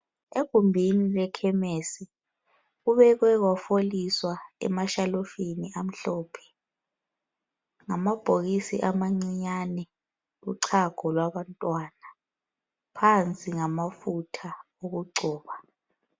Egumbini lekhemisi kubekwe kwafoliswa emashelufini amhlophe. Ngamabhokisi amancinyane lochago kwabantwana ,phansi ngamafutha okugcoba.